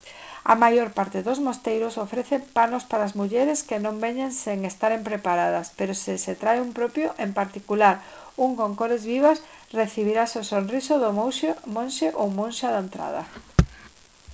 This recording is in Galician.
a maior parte dos mosteiros ofrecen panos para as mulleres que non veñen sen estaren preparadas pero se se trae un propio en particular un con cores vivas recibirase o sorriso do monxe ou monxa á entrada